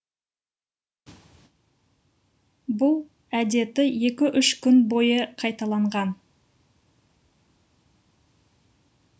бұл әдеті екі үш күн бойы қайталанған